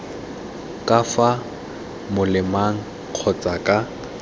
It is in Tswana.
ka fa molemeng kgotsa ka